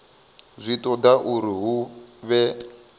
zwi toda uri hu vhe